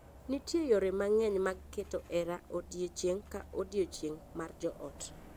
Nitie yore mang’eny mag keto hera odiechieng’ ka odiechieng’ mar joot.